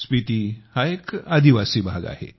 स्पिती हा एक जनजातीय भाग आहे